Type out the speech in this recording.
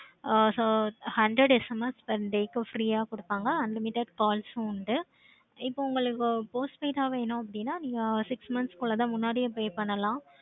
ஆஹ் so hundred SMS per day க்கு free யா கொடுப்பீங்க unlimited calls உண்டு. உங்களுக்கு post-paid ஆஹ் வேணும் அப்படின்னு வேணும்னா six months குள்ள முன்னாடியே pay பண்ணலாம்.